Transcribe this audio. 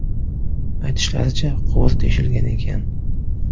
Aytishlaricha, quvur teshilgan ekan.